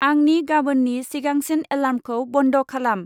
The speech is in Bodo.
आंनि गाबोन्नि सिगांसिन एलार्मखौ बन्द' खालाम।